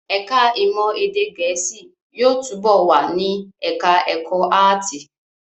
Ẹ̀ká ìmọ̀ èdè Gẹ̀ẹ́sì yóò túbọ̀ wà ní ẹ̀ká ẹ̀kọ́ áàtì